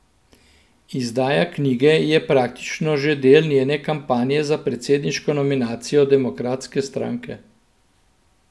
Izdaja knjige je praktično že del njene kampanje za predsedniško nominacijo demokratske stranke.